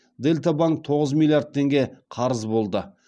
дельта банк тоғыз миллиард теңге қарыз болды